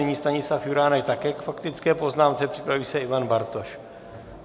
Nyní Stanislav Juránek také k faktické poznámce, připraví se Ivan Bartoš.